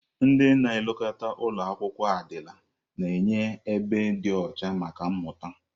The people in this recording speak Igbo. Ndị na-elekọta ụlọ akwụkwọ adịla na-enye ebe dị ọcha maka mmụta.